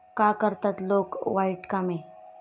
का करतात लोक वाईट कामे?